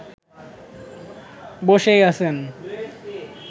বসেই আছেন